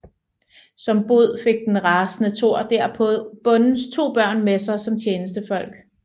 Som bod fik den rasende Thor derpå bondens to børn med sig som tjenestefolk